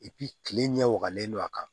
kile ɲɛ wagalen don a kan